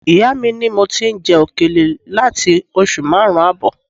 Ìyá mi ni mo ti ń jẹ òkèlè láti oṣù márùn-ún ààbọ̀